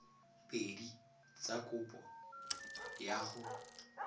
pedi tsa kopo ya go